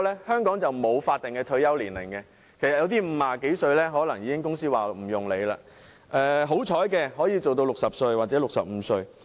香港沒有法定的退休年齡，有些人50多歲已被公司迫退，好運的人或可工作到60歲或65歲。